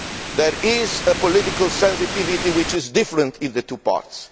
There is a political sensitivity which is different in the two parts.